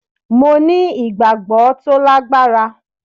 Mo ní ìgbàgbọ́ tó lágbára